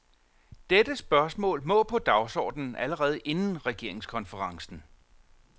Dette spørgsmål må på dagsordenen allerede inden regeringskonferencen.